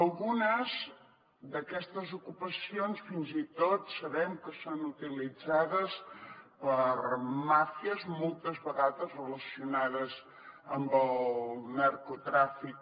algunes d’aquestes ocupacions fins i tot sabem que són utilitzades per màfies moltes vegades relacionades amb el narcotràfic